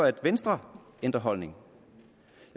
at venstre ændrer holdning